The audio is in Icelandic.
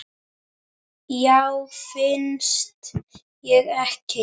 Já, finnst þér ekki?